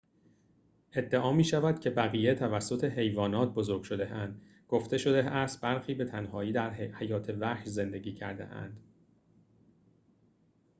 ادعا می‌شود که بقیه توسط حیوانات بزرگ شده‌اند گفته شده است برخی به تنهایی در حیات وحش زندگی کرده‌اند